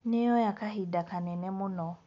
Nĩyoya kahinda kanene mũno.